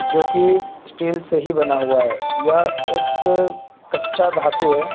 जो कि स्टील से ही बना हुआ है यह एक कच्चा धातु है।